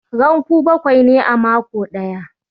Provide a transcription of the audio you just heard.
Ranku bakwai ne a mako ɗaya